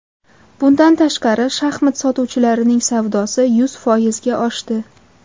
Bundan tashqari, shaxmat sotuvchilarining savdosi yuz foizga oshdi.